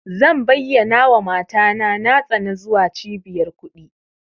Zan bayyanawa mata na tsani zuwa cibiyar kuɗi.